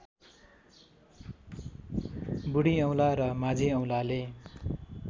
बुढीऔँला र माझीऔँलाले